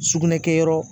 Sugunɛ kɛyɔrɔ